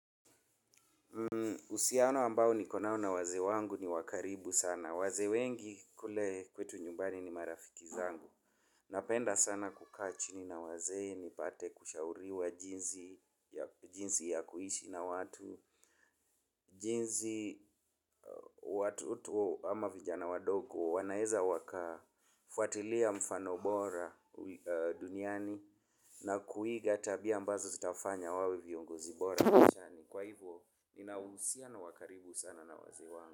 Uhusiano ambao nikonao na wazee wangu ni wa karibu sana. Wazee wengi kule kwetu nyumbani ni marafiki zangu. Napenda sana kukaa chini na wazee nipate kushauriwa jinsi jinsi ya kuishi na watu. Jinsi watu tu ama vijana wadogo wanaweza wakafuatilia mfano bora duniani. Na kuiga tabia ambazo zitawafanya wawe viongozi bora maishani. Kwa hivyo ninauhusiano wa karibu sana na wazee wangu.